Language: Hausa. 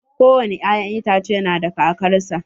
Ko wani ya'yan itace na da kakar sa.